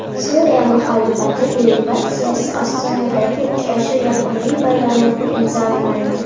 Suriya muxolifati delegatsiyasi Ostonadagi uchrashuv yakuniy bayonotini imzolamaydi.